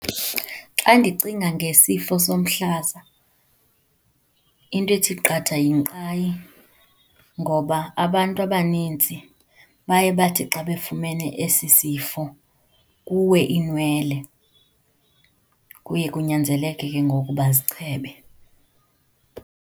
Xa ndicinga ngesifo somhlaza into ethi qatha yinkqayi ngoba abantu abaninzi baye bathi xa befumene esi sifo kuwe iinwele, kuye kunyanzeleke ke ngoku bazichebe.